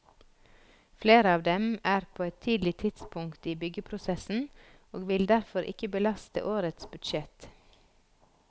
Flere av dem er på et tidlig stadium i byggeprosessen og vil derfor ikke belaste årets budsjett.